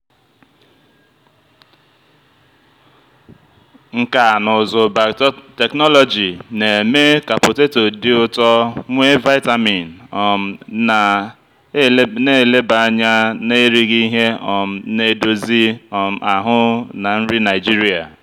nkà na ụzụ biotechnology na-eme ka poteto dị ụtọ nwee vitamin um na-eleba anya na erighị ihe um na-edozi um ahụ na nri nigeria.